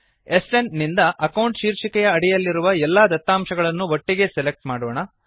SN ನಿಂದ account ಶೀರ್ಷಿಕೆಯ ಅಡಿಯಲ್ಲಿರುವ ಎಲ್ಲಾ ದತ್ತಾಂಶಗಳನ್ನು ಒಟ್ಟಿಗೆ ಸೆಲೆಕ್ಟ್ ಮಾಡಿಕೊಳ್ಳೋಣ